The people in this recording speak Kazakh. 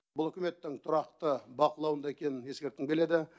бұл үкіметтің тұрақты бақылауында екенін ескерткім келеді